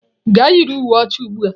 Gaa yiri uwe ọcha ugbu a!